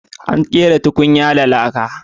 Ana kera tukunya da laka.